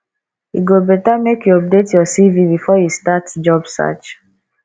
e go better make you update your cv before you start job search